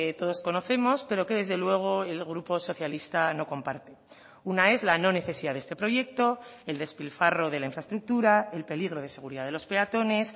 todos conocemos pero que desde luego el grupo socialista no comparte una es la no necesidad de este proyecto el despilfarro de la infraestructura el peligro de seguridad de los peatones